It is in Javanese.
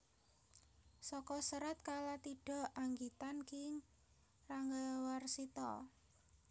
Saka Serat Kalatidha anggitan Ki Ranggawarsita